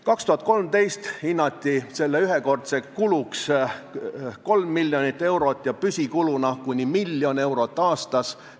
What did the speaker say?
2013. aastal hinnati selle ühekordseks kuluks kolm miljonit eurot ja püsikuluna kuni miljon eurot aastas.